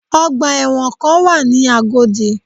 Ọgbà ẹ̀wọ̀ kan wà ní Agodi